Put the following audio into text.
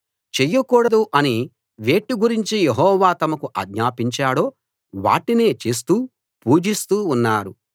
చెయ్యకూడదు అని వేటి గురించి యెహోవా తమకు ఆజ్ఞాపించాడో వాటినే చేస్తూ పూజిస్తూ ఉన్నారు